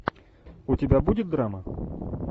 у тебя будет драма